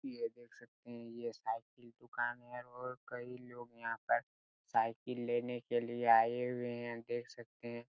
ये देख सकते हैं ये साइकिल दुकान हैं और कई लोग साइकिल लेने के लिए आये हुए है देख सकते हैं।